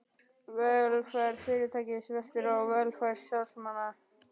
Velferð fyrirtækis veltur á velferð starfsmannanna.